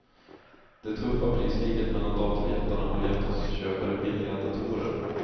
Det tuffa priskriget mellan datorjättarna har gett oss köpare billiga datorer.